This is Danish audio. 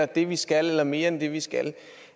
det vi skal eller mere end det vi skal